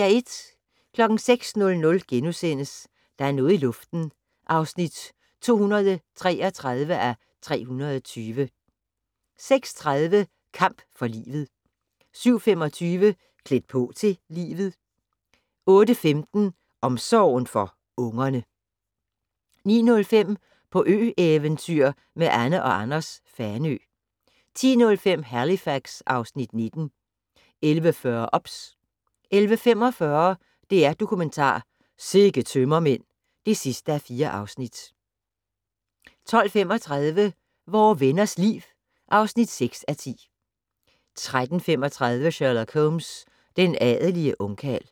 06:00: Der er noget i luften (233:320)* 06:30: Kamp for livet 07:25: Klædt på til livet 08:15: Omsorgen for ungerne 09:05: På ø-eventyr med Anne & Anders - Fanø 10:05: Halifax (Afs. 19) 11:40: OBS 11:45: DR-Dokumentar: Sikke tømmermænd (4:4) 12:35: Vore Venners Liv (6:10) 13:35: Sherlock Holmes: Den adelige ungkarl